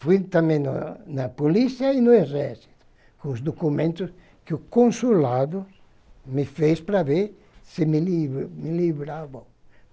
Fui também no na polícia e no exército, com os documentos que o consulado me fez para ver se me me livravam.